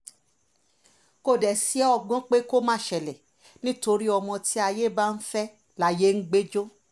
kò dé sí ọgbọ́n pé kó má ṣẹlẹ̀ nítorí ọmọ tí ayé bá fẹ́ layé ń gbé jọ